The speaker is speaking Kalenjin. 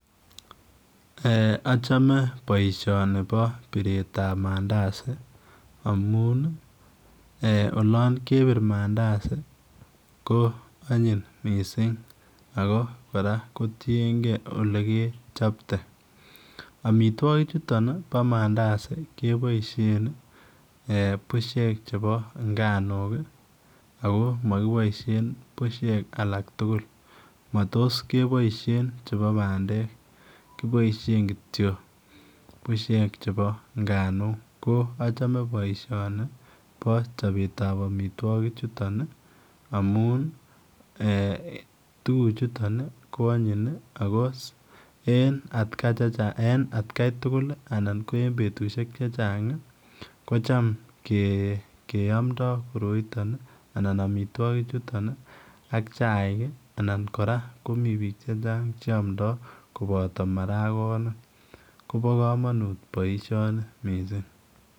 Achome boishoni Bo biret ab mandasi amun yangebir mandasi ko anyin missing kora kotienge olekechobte amitwakik chutok Bo mandasi keiboishen bushek chebo nganuk ako Mokiboishen bushek alaktukul ago ana bushek chebo pandek kityok keiboishen chebo nganukkonacome boishoni Bo chobet ab amitwakik chutok amun ee tukuk chutok ko anyin en en atkai tukul anan en betusiek Che Chang kocham ke keamndo koroiton anan amitwakik chuton AK chaik anan Kara komii bik Che Chang koboto maragonik Kobo kamanut boishoni missing